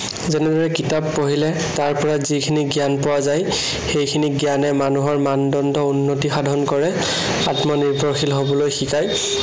যেনেদৰে কিতাপ পঢ়িলে তাৰপৰা যিখিনি জ্ঞান পোৱা যায়, সেইখিনি জ্ঞানে মানুহৰ মানদণ্ড উন্নতি সাধন কৰে, আত্মনিৰ্ভৰশীল হবলৈ শিকায়।